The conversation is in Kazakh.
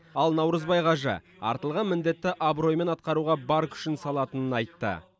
ал наурызбай қажы артылған міндетті абыроймен атқаруға бар күшін салатынын айтты